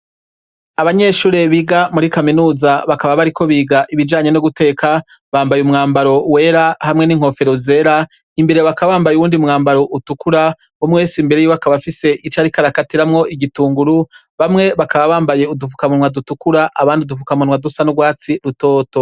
Abanyeshure biga muri kaminuza bakaba bariko biga ibijanye no guteka, bambaye umwambaro wera hamwe n'inkofero zera, imbere bakaba bambaye uwundi mwambaro utukura, umwe wese imbere yiwe akaba afise ico ariko arakatiramwo igitunguru, bamwe bakaba bambaye udufukamunwa dutukura abandi udufukamunwa dusa n'urwatsi rutoto.